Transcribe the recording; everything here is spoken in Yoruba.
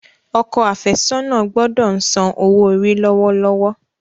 Okọ afesona gbódò ń sàn owo-ori lọwọlọwọ.